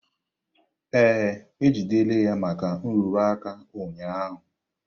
Ee, e jidere ya maka nrụrụ aka ụnyaahụ.